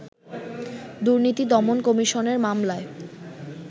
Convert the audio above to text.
দুর্নীতি দমন কমিশনের মামলায়